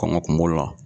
Kɔngɔ kungolo la